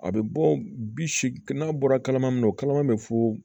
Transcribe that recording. A bɛ bɔ bi seegin n'a bɔra kalama o kalama bɛ foo